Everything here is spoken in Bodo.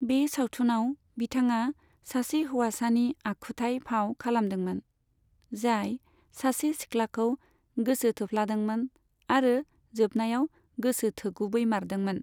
बे सावथुनाव बिथाङा सासे हौवासानि आखुथाइ फाव खालामदोंमोन, जाय सासे सिख्लाखौ गोसो थोफ्लादोंमोन, आरो जोबनायाव गोसो थोगुबैमारदोंमोन।